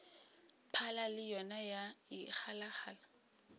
phala le yona ya ikgalagala